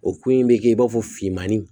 O ko in bɛ kɛ i b'a fɔ finmanni